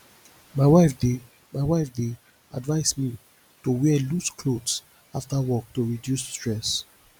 my wife dey my wife dey advise me to wear loose clothes after work to reduce stress